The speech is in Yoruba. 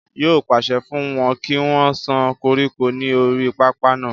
yóò pàṣẹ fún wọn kí wọ́n sán koríko ní orí pápá náà